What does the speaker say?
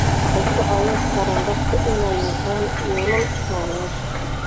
Waxay ka caawin karaan dadka inay yeeshaan yoolal nololeed.